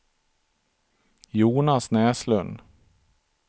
Jonas Näslund